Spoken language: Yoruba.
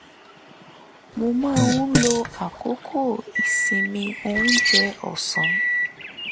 mo máa ń lo àkókò ìsinmi oúnjẹ ọ̀sán